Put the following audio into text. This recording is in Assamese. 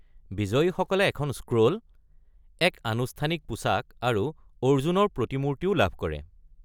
বিজয়ীসকলে এখন স্ক্ৰ'ল, এক আনুষ্ঠানিক পোচাক আৰু অৰ্জুনৰ প্ৰতিমূৰ্তিও লাভ কৰে।